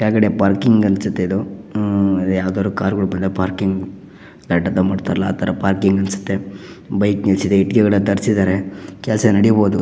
ಕೆಳಗಡೆ ಪಾರ್ಕಿಂಗ್ ಅನಿಸುತ್ತೆ ಇದು ಹ್ಮ್ ಯಾವುದಾದರು ಕಾರ್ ಗಳಿಗೆ ಪಾರ್ಕಿಂಗ್ ಮಾಡ್ತಾರಲ್ಲ ಆ ತರ ಪಾರ್ಕಿಂಗ್ ಅನಿಸುತ್ತೆ. ಬೈಕ್ ನಿಲ್ಲಿಸಿದೆ ಇಟ್ಟಿಗೆಗಳನ್ನ ತರಿಸಿದ್ದಾರೆ ಕೆಲಸ ನಡೀಬೋದು.